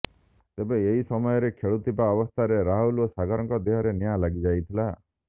ତେବେ ଏହି ସମୟରେ ଖେଳୁଥିବା ଅବସ୍ଥାରେ ରାହୁଲ ଏବଂ ସାଗରଙ୍କ ଦେହରେ ନିଆଁ ଲାଗିଯାଇଥିଲା